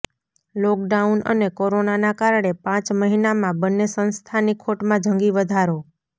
lockdown અને કોરોનાના કારણે પાંચ મહિનામાં બંને સંસ્થાની ખોટમાં જંગી વધારો